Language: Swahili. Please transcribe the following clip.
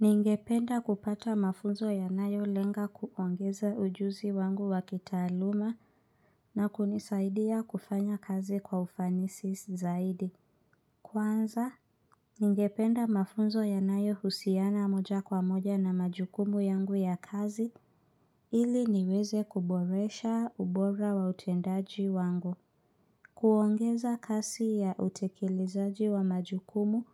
Ningependa kupata mafunzo ya nayo lenga kuongeza ujuzi wangu wakitaaluma na kunisaidia kufanya kazi kwa ufanisi zaidi. Kwanza, ningependa mafunzo ya nayo husiana moja kwa moja na majukumu yangu ya kazi ili niweze kuboresha ubora wa utendaji wangu. Kuongeza kasi ya utekelezaji wa majukumu